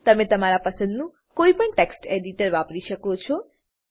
તમે તમારા પસંદનું કોઈપણ ટેક્સ્ટ એડીટર વાપરી શકો છો